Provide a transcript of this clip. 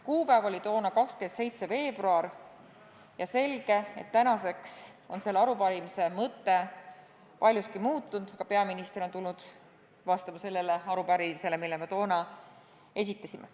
Kuupäev oli toona 27. veebruar ja on selge, et tänaseks on selle arupärimise mõte paljuski muutunud, aga peaminister on tulnud vastama just sellele arupärimisele, mille me toona esitasime.